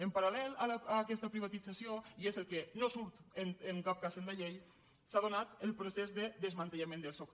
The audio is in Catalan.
en paral·lel a aquesta privatització i és el que no surt en cap cas en la llei s’ha donat el procés de desmantellament del soc